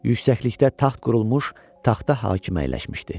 Yüksəklikdə taxt qurulmuş, taxta hakim əyləşmişdi.